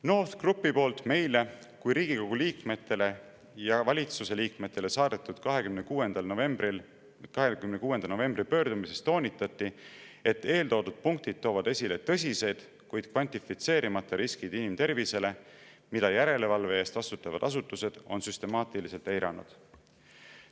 NORTH Groupi poolt meile ehk Riigikogu liikmetele ja valitsuse liikmetele 26. novembril saadetud pöördumises toonitati, et eeltoodud punktid toovad esile tõsised, kuid kvantifitseerimata riskid inimtervisele, mida järelevalve eest vastutavad asutused on süstemaatiliselt eiranud.